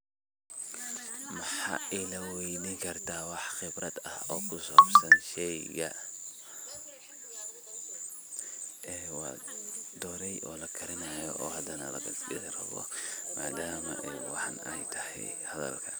Waxa iga weeyden kartah waxa Qeebrat aah sheeyga wa dooray oo lagarinayo oo hadana madma ay waxatahoo